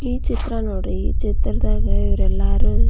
ಈ ಚಿತ್ರ ನೋಡ್ರಿ ಈ ಚಿತ್ರ ದಾಗ ಇವರು ಎಲ್ಲರೂ --